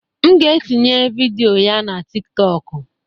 M ga-etinye vidiyo na TikTokụ.